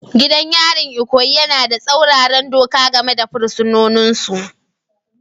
Gidan yarin Ikoyi yana da tsauraran doka game da fursunonin su